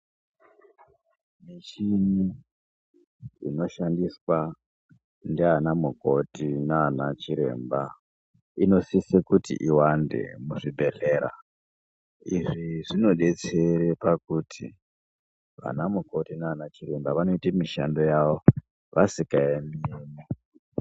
Michini inoshandiswa ndiana mukoti nana chiremba, inosise kuti iwande muzvibhedhlera, izvi zvinodetsere pakuti ana mukoti nana chiremba vanoyite mishando yavo vasikayemi.